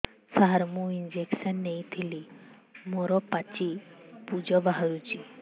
ସାର ମୁଁ ଇଂଜେକସନ ନେଇଥିଲି ମୋରୋ ପାଚି ପୂଜ ବାହାରୁଚି